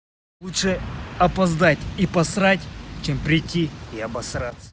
лучше опоздать и посрать чем прийти и обосраться